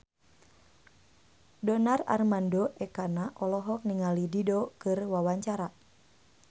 Donar Armando Ekana olohok ningali Dido keur diwawancara